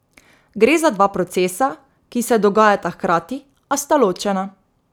Gre za dva procesa, ki se dogajata hkrati, a sta ločena.